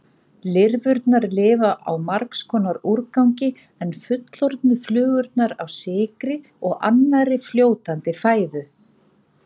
Lirfurnar lifa á margs konar úrgangi en fullorðnu flugurnar á sykri og annarri fljótandi fæðu.